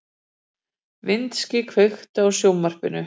Vinsý, kveiktu á sjónvarpinu.